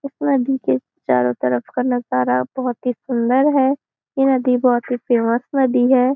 इस नदी के चारों तरफ का नजारा बहुत ही सुंदर है ये नदी बहुत ही फेमस नदी है।